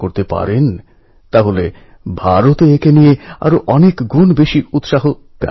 কবি নীরজের সব কথা আমাদের সকল ভারতবাসীকে অনেক শক্তি প্রেরণা দিতে পারে